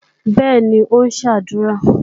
Bẹ́ẹ̀ni, ó ń ṣàdúrà.